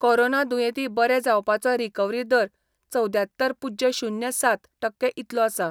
Corona दुयेंती बरे जावपाचो रिकवरी दर चवद्यात्तर पुज्य शुन्य सात टक्के इतलो आसा.